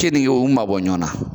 Kenige u mabɔ ɲɔgɔnna.